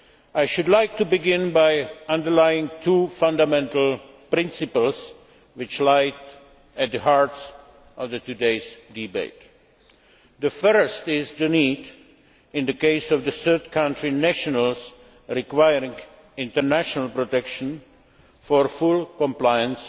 I should like to begin by underlining two fundamental principles which lie at the heart of today's debate. The first is the need, in the case of third country nationals requiring international protection, for full compliance